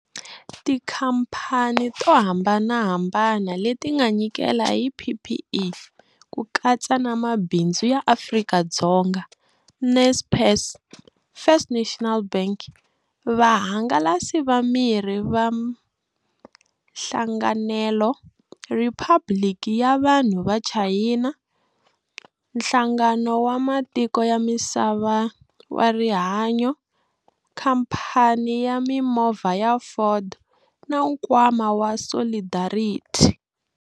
Tikhamphani to hambanahambana leti nga nyikela hi PPE, ku katsa na Mabindzu ya Afrika-Dzonga, Naspers, First National Bank, Vahangalasi va Mirhi va Hlanganelo, Riphabuliki ya Vanhu va China, Nhlangano wa Matiko ya Misava wa Rihanyo, Khamphani ya Mimovha ya Ford na Nkwama wa Solidarity.